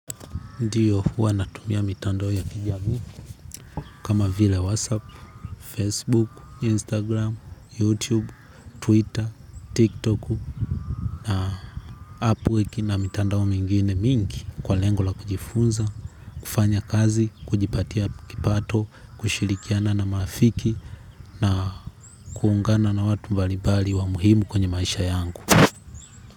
Ndiyo huwa natumia mitandao ya kijami kama vile WhatsApp, Facebook, Instagram, YouTube, Twitter, TikTok na Upwork na mitandao mingine mingi kwa lengo la kujifunza, kufanya kazi, kujipatia kipato, kushilikiana na malafiki na kuungana na watu mbalibali wa muhimu kwenye maisha yangu.